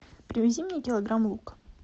привези мне килограмм лука